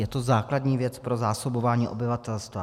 Je to základní věc pro zásobování obyvatelstva.